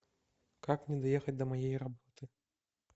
как мне доехать до моей работы